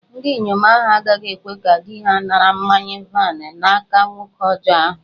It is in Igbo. Ndinyom ahu agaghi-ekwe ka di-ha nara mmanya-vaịn n'aka nwoke ọjọ ahu